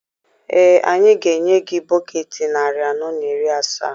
Ee, anyị ga-enye gị bọketị narị anọ na iri asaa.